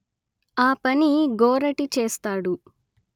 ఆ పని గోరటి చేస్తాడు